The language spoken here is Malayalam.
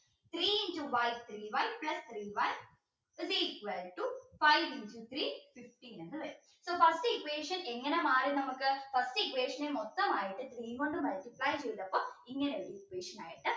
three into y three y plus three one is equal to five into three fifteen എന്ന് വരും so first equation എങ്ങന മാറി നമുക്ക് first equation നെ മൊത്തമായിട്ട് three കൊണ്ട് multiply ചെയ്തപ്പോൾ ഇങ്ങനെ ഒരു equation ആയിട്ട്